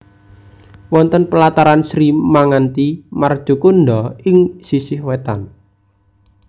Wonten pelataran Sri Manganti Marcukundha ing sisih wetan